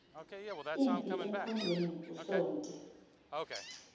impi emkhondweni usonti